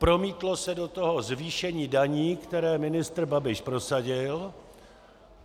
Promítlo se do toho zvýšení daní, které ministr Babiš prosadil.